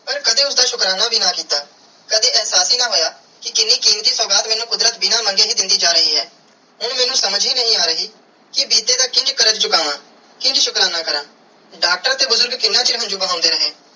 ਪਾਰ ਕਦੇ ਉਸਦਾ ਸ਼ੁਕਰਾਨਾ ਵੀ ਨਾ ਕੀਤਾ ਕਦੀ ਇਹਸਾਸ ਹੀ ਨਾ ਹੋਇਆ ਕਿ ਕੀਨੀ ਕੀਮਤੀ ਸੁਗਾਤ ਮੈਨੂੰ ਕੁਦਰਤ ਬਿਨਾ ਮਨਗੇ ਹੀ ਦੇਂਦੀ ਜਾ ਰਾਏ ਹੈ ਪਾਰ ਸਮਝ ਹੀ ਨਾਈ ਆਹ ਰਾਏ ਕੇ ਬੀਤੇ ਦਾ ਕਿੰਜ ਕਾਰਜ ਚੁਕਾਵੈ ਕਿੰਜ ਸ਼ੁਕਰਾਨਾ ਕਾਰਾ ਡਾਕਟਰ ਤੇ ਬੁਜ਼ਰਗ ਕਿੰਨਾ ਚਿਰ ਹੰਜੂ ਬਹੰਦੇ ਰੇ.